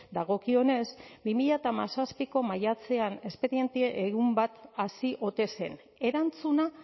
dagokionez bi mila hamazazpiko maiatzean espediente egun bat hasi ote zen erantzuna